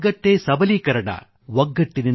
unity is power unity is strength